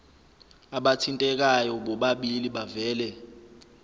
abathintekayo bobabili bavele